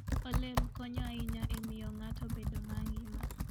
Olemb konyo ahinya e miyo ng'ato bedo mangima.